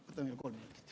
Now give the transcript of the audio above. Palun kolm minutit.